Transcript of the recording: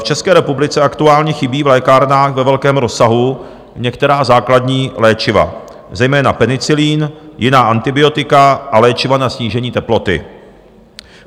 V České republice aktuálně chybí v lékárnách ve velkém rozsahu některá základní léčiva, zejména penicilin, jiná antibiotika a léčiva na snížení teploty.